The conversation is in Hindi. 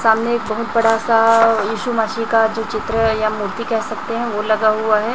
सामने एक बहोत बड़ा सा यीशु मसीह का जो चित्र है या मूर्ति कह सकते हैं वह लगा हुआ है।